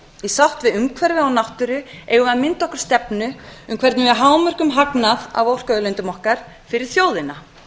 í sátt við umhverfi og náttúru eigum við að mynda okkur stefnu um hvernig við hámörkum hagnað af orkuauðlindum okkar fyrir þjóðina